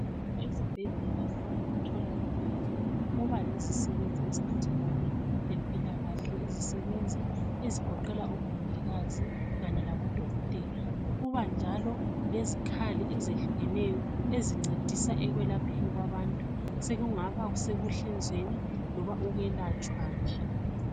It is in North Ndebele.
Ezibhedlela loba emtholampilo kuba lezisebenzi eziphathelane lempilakahle. Izisebenzi ezigoqela oMongikazi kanye labo Dokotela .Kuba njalo lezikhali ezehlukeneyo ezincedisa ekwelapheni kwabantu. Sekungaba sekuhlinzweni loba ukwelatshwa nje.